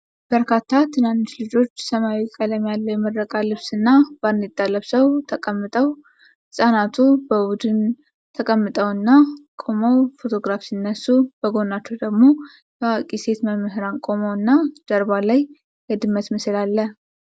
በርካታ ትናንሽ ልጆች ሰማያዊ ቀለም ያለው የምረቃ ልብስ እና ባርኔጣ ለብሰው ተቀምጠው ህፃናቱ በቡድን ተቀምጠውና ቆመው ፎቶግራፍ ሲነሱ፣ በጎናቸው ደግሞ የአዋቂ ሴቶች መምህራን ቆመው እና ጀርባ ላይ የድመት ምስል አለ።